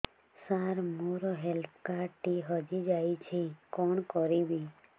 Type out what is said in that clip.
ସାର ମୋର health card ଟି ହଜି ଯାଇଛି କଣ କରିବି